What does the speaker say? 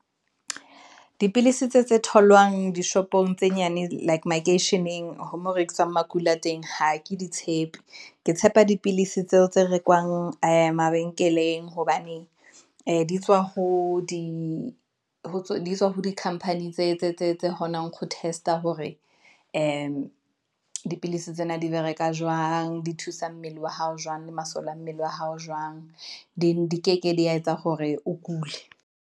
Dipilisi tse tse tholwang dishopong tse nyane like makeisheneng ho mo rekiswang makula a teng ha ke di tshepe, ke tshepa dipilisi tseo tse rekwang ee mabenkeleng, hobane ee di tswa ho di company, tse kgonang ho teste-a hore di dipilisi tsena di bereka jwang, di thusa mmele wa hao jwang, le masole a mmele wa hao jwang. di keke di yetsa hore o kule.